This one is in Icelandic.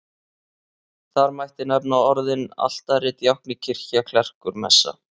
Þar mætti nefna orðin altari, djákni, kirkja, klerkur, messa.